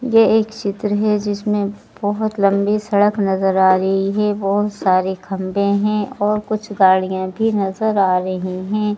ये एक चित्र है जिसमें बहुत लंबी सड़क नज़र आ रही है बहुत सारे खंबे हैं और कुछ गाड़ियां भी नज़र आ रही हैं।